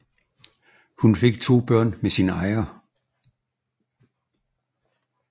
Hun fik to børn med sin ejer